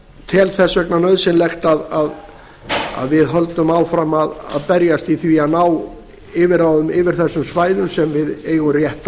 tel þess vegna nauðsynlegt að við höldum áfram að berjast í því að ná yfirráðum yfir þessum svæðum sem við eigum rétt